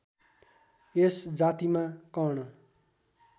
यस जातिमा कर्ण